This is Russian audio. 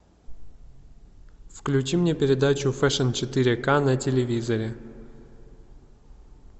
включи мне передачу фэшн четыре к на телевизоре